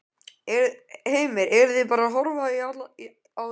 Heimir: Eruð þið bara að horfa á í dag?